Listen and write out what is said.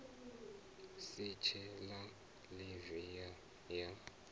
si tshe na ḽivi ya